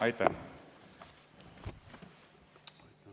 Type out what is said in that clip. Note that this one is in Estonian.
Aitäh!